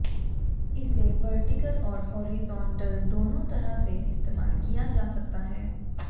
इसे वर्टिकल और हॉरिजॉन्टल दोनों तरह से इस्तेमाल किया जा सकता है